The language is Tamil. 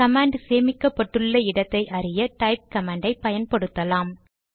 கமாண்ட் சேமிக்கப்பட்டுள்ள இடத்தை அறிய டைப் கமாண்ட் ஐ பயன்படுத்தலாம்